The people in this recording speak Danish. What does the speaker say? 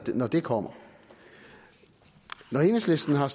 når det kommer når enhedslisten har